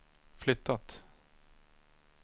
flyttat